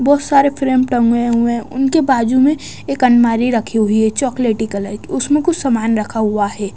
बहुत सारे फ्रेम टंगे हुए हैं उनके बाजू में एक अलमारी रखी हुई है चॉकलेटी कलर की उसमें कुछ सामान रखा हुआ है।